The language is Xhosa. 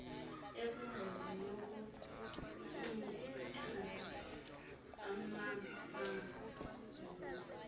ekwingozi yokuntlithana angabangquba